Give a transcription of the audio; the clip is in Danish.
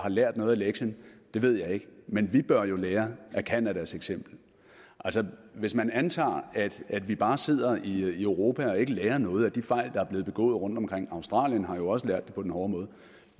lært noget af lektien ved jeg ikke men vi bør jo lære af canadas eksempel altså hvis man antager at vi bare sidder i europa og ikke lærer noget af de fejl der er blevet begået rundtomkring australien har jo også lært det på den hårde måde